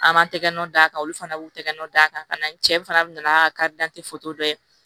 An m'an tɛgɛ nɔn d'a kan olu fana b'u tɛgɛ nɔ d'a kan n cɛ fana nana ka dantiko dɔ kɛ